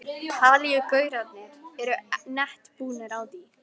Talíu gaurarnir eru nett búnir á því.